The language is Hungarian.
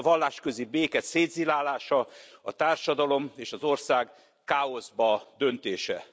A vallásközi béke szétzilálása, a társadalom és az ország káoszba döntése.